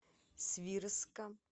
свирска